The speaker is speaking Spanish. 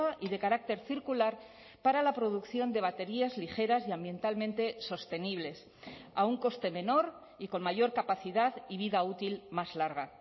y de carácter circular para la producción de baterías ligeras y ambientalmente sostenibles a un coste menor y con mayor capacidad y vida útil más larga